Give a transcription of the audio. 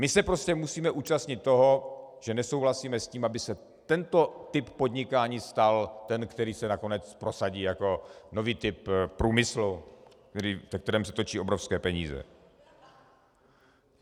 My se prostě musíme účastnit toho, že nesouhlasíme s tím, aby se tento typ podnikání stal ten, který se nakonec prosadí jako nový typ průmyslu, ve kterém se točí obrovské peníze.